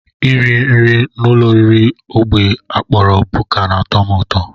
Iri nri n'ụlọoriri ógbè a kpọrọ buka na-atọ m ụtọ